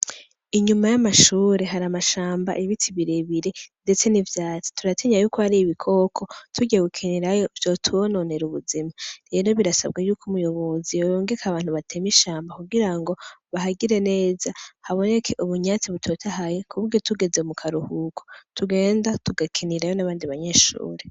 Inyuma y'amashure hari amashamba ibiti birebire, ndetse ni vyati turatinya yuko hari ibikoko turewekenirayo vyotubononera ubuzima rero birasabwe yuko umuyobozi yoyongeke abantu bateme ishamba kugira ngo bahagire neza haboneke ubunyatsi butotahaye kubge tugeze mu karuhuko tugenda tugakinira abandi banyeshuri.